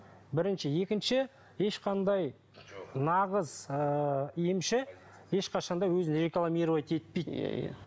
бірінші екінші ешқандай нағыз ыыы емші ешқашан да өзін рекламировать етпейді иә иә